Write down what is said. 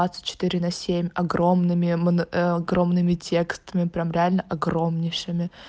двадцать четыре на семь огромными огромными текстами прям реально огромнейшими